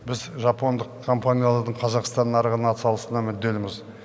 біз жапондық компаниялардың қазақстан нарығына атсалысуына мүдделіміз